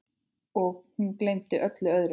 Og hún gleymdi öllu öðru.